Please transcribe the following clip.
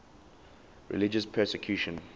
religious persecution